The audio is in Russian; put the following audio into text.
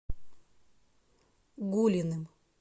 гулиным